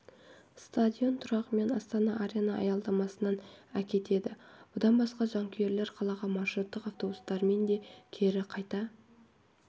стадион тұрағымен астана арена аялдамасынан әкетеді бұдан басқа жанкүйерлер қалаға маршруттық автобустарымен де кері қайта